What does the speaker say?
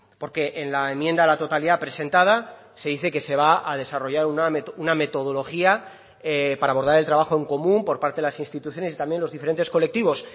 porque en la enmienda a la totalidad presentada se dice que se va a desarrollar una metodología para abordar el trabajo en común por parte de las instituciones y también los diferentes colectivos